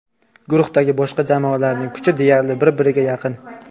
Guruhdagi boshqa jamoalarning kuchi deyarli bir-birga yaqin.